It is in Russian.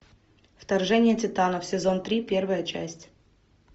вторжение титанов сезон три первая часть